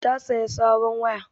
Ta sayi sabon waya